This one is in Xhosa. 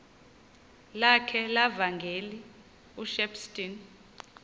lakhe levangeli ushepstone